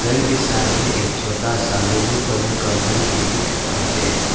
घर के सामने एक छोटा सा यल्लो कलर का घर भी दिख रहा है।